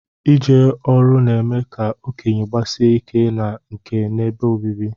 Ije ọru na-eme ka okenye gbasie ike na nka n'ebe obibi